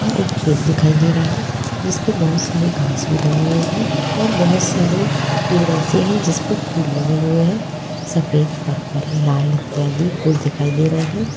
एक खेत दिखाई दे रहा है जिसपे बहुत सारी घास भी लगी हुई है और बहुत सारे पेड़ ऐसे हैं जिसपे फूल लगे हुए हैं सफेद लाल पर्पल इत्तयादि फूल दिखाई दे रहे हैं।